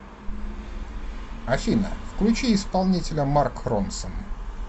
афина включи исполнителя марк ронсон